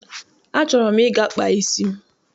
Achọrọ m ịga kpaa isi m.